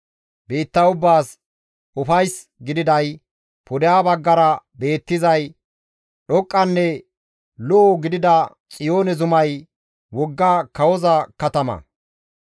Biitta ubbaas ufays gididay, pudeha baggara beettizay dhoqqanne lo7o gidida Xiyoone zumay wogga kawoza katama.